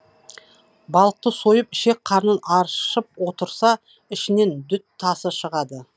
балықты сойып ішек қарнын аршып отырса ішінен дүт тасы шығады